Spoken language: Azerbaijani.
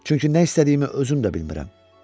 Çünki nə istədiyimi özüm də bilmirəm.